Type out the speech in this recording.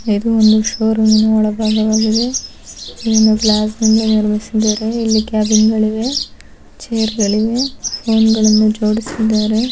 ಇದು ಒಂದು ಶೋರೂಮ್ನ ಒಳ ಭಾಗವಾಗಿದೆ. ಇದನ್ನು ಗ್ಲಾಸ್ಸಿಂದ ನಿರ್ಮಿಸಿದ್ದಾರೆ. ಇಲ್ಲಿ ಕ್ಯಾಬಿನ್ಗಳಿವೆ ಚೇರ್ಗಳಿವೆ ಫೋನ್ ಗಳನ್ನು ಜೋಡಿಸಿದ್ದಾರೆ.